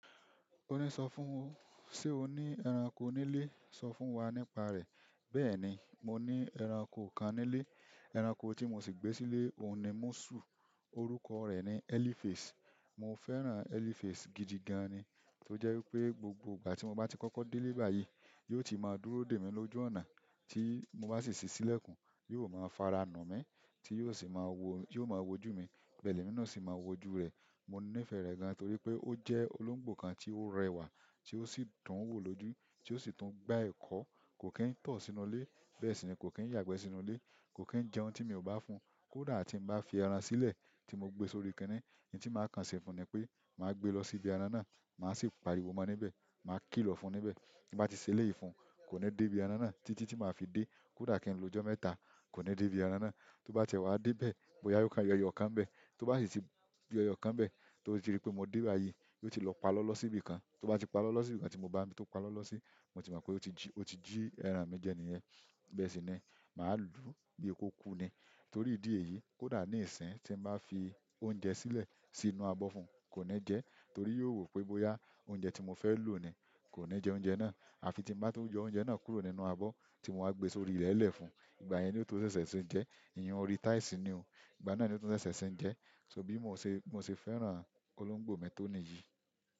O ní sọ fún, ṣe o ní ẹranko nílé? Sọ fún wa nípa rẹ̀. Bẹ́ẹ̀ni, mo ní ẹranko kan nílé. Ẹranko tí mo sì gbé sílé òun ni múṣù. Orúkọ rẹ̀ ni Elifas. Mo fẹ́ràn Elifas gidi gan ni. Tó jẹ́ wípé gbogbo ìgbà tí mo bá ti kọ́kọ́ dé ilé báyìí, yóò ti máa dúró dè mí lójú ọ̀nà. Tí mo bá sì ṣí sílẹ̀kùn, yóò máa fara nu mi tí yóò sì máa wo, ti yóò máa wojú mi. Bẹ́ẹ̀ lemi náà o sì máa wojú rẹ̀. Mo nífẹ̀ẹ́ rẹ̀ gan torí pé ó jẹ́ olóńgbò kan tí ó rẹwà tí ó sì dún wò lójú, tí ó sì tún gba ẹ̀kọ. Kò kín tọ̀ sínú ilé, bẹ́ẹ̀ sì ni kò kín yàgbẹ́ sínú ilé. Kò kín jẹun tí mi ò bá fún un. Kódà tí ń bá fi ẹran sílẹ̀ tí mo gbe sórí kínní, ohun tí màá kan ṣe fún un ni pé màá gbé lọ sí ibi ẹran náà, màá sì pariwo mọ níbẹ̀, màá kìlọ̀ fún níbẹ̀. Bí bàá ti ṣe eléyi fún, kò ní dé ibi ẹran náà títí tí màá fi dé. Kódà ki n lo ọjọ mẹ́ta ko ni debi ẹran náà. Tó bá tiẹ dé bẹ̀, bóyá yóò kan yọ̀ ẹyọkan nbẹ̀. Tó bá sì ti yọ̀ ẹyọkan nbẹ̀ tó rí pé mo dé báyìí, yóò ti lọ palọọlọ sí ibi kan. Tó bá ti palọọlọ sí ibi kan tí mo bá ni ibí to palọọlọ sí, mo ti mọ̀ pé ó ti jí, ó ti jí ẹran mi jẹ níyẹn. Bẹ́ẹ̀ sì ni, màá lú bí kokú ni. Torí idi èyí, kódà ni isin ti n ba fi oúnjẹ silẹ sínú abọ fún koni jẹ torí yóò wo pe boya oúnjẹ ti mofẹ lo ni kò ní jẹ oúnjẹ náà. À fi tí ń bá to yọ oúnjẹ náà kúrò nínú abọ́ tí mo wá gbe sórí ilẹ̀ lẹ̀ fún un, ìgbà yẹn ni ó tó ṣẹ̀ṣẹ̀ ṣe ń jẹ. Ìyẹn orí táìsì ni o. Ìgbà náà ni ó tó ṣẹ̀ṣẹ̀ ṣe ń jẹ. So bí mo ṣè, mo ṣe fẹ́ràn olóńgbò mi tó nìyí.